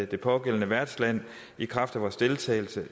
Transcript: det pågældende værtsland i kraft af vores deltagelse